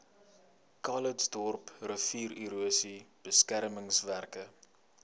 calitzdorp riviererosie beskermingswerke